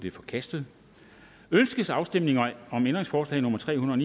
er forkastet ønskes afstemning om ændringsforslag nummer tre hundrede